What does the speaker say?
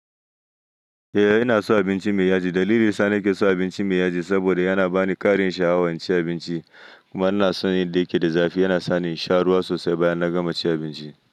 Eh inason abinci mai yaji. Dalili sa nekeso abinci mai yaji, saboda yana bani ƙarin sha'awa inci abinci. Kuma inason yanda yakeda zafi, yana sani insha ruwa sosai bayan na gama cin abinci.